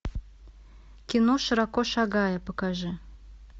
кино широко шагая покажи